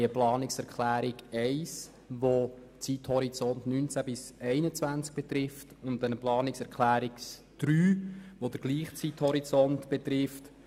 Die Planungserklärungen 1 und 3 betreffen den Zeithorizont 2019–2021.